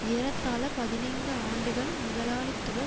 ஏறத்தாழ பதினைந்து ஆண்டுகள் முதலாளித்துவ